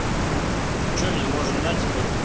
и что мне можно дать теперь